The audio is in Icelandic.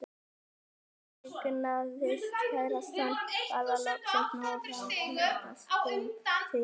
Þegar ég eignaðist kærastann varð ég loksins nógu framtakssöm til að slíta hjónin úr sambandi.